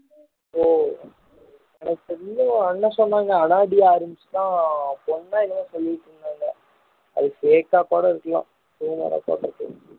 ஓ எனக்கு தெரிஞ்சு என்ன சொன்னாங்க அனா டி ஆர்மஸ் தான் பொண்ணா என்னவோ சொல்லிட்டு இருந்தாங்க அது fake கா கூட இருக்கலாம் rumour ஆ கூட இருக்கலாம்